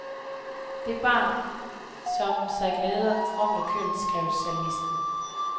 Det barn, som sig glæder fromt og kønt, skrev salmisten.